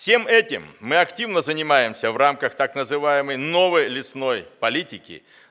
всем этим мы активно занимаемся в рамках так называемой новой лесной политики